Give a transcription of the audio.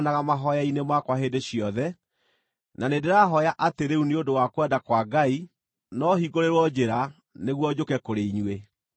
mahooya-inĩ makwa hĩndĩ ciothe; na nĩndĩrahooya atĩ rĩu nĩ ũndũ wa kwenda kwa Ngai no hingũrĩrwo njĩra nĩguo njũke kũrĩ inyuĩ.